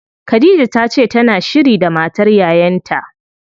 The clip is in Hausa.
Khadija tace tana shiri da matar yayan ta.